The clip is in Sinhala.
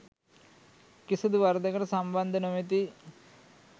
කිසිදු වරදකට සම්බන්ධ නොමැති